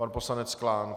Pan poslanec Klán.